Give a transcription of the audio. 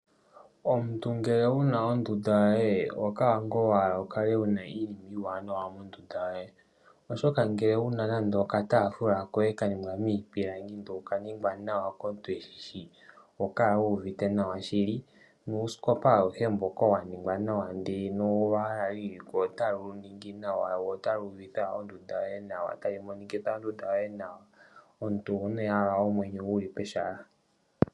Omuntu ngele wuna ondunda yoye oho kala wa hala mu kale muna iinima iiwanawa ngashi oku landelamo uutafula walongwa miipilangi oshowo uuskopa, ohawu monikitha ondunda nawa noho kala wuuvite nawa.